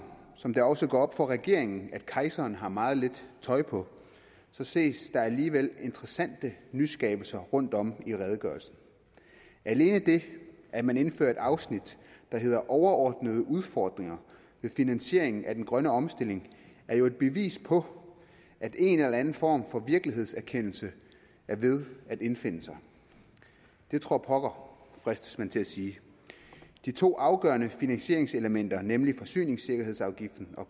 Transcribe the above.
som det også går op for regeringen at kejseren har meget lidt tøj på ses der alligevel interessante nyskabelser rundtom i redegørelsen alene det at man indfører et afsnit der hedder overordnede udfordringer ved finansieringen af den grønne omstilling er jo et bevis på at en eller anden form for virkelighedserkendelse er ved at indfinde sig det tror pokker fristes man til at sige de to afgørende finansieringselementer nemlig forsyningssikkerhedsafgiften og